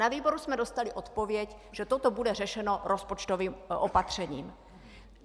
Na výboru jsme dostali odpověď, že toto bude řešeno rozpočtovým opatřením.